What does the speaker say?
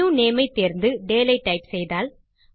new name ஐ தேர்ந்து டேல் ஐ டைப் செய்தால்